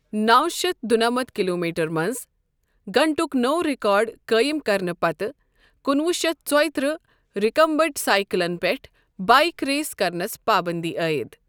نَوشتھ دُنمتھ کلوٗمیٹر منٛز گھنٹُک نوٚو ریکارڈ قٲیِم کرنہٕ پتہٕ کُنوُہ شتھ ژۄیتٕرہ منٛز رکمبنٹ سائیکلَن پٮ۪ٹھ بایک ریس کرنَس پابنٛدی عٲیِد۔